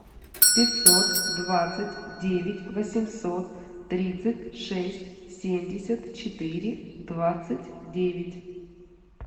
пятьсот двадцать девять восемьсот тридцать шесть семьдесят четыре двадцать девять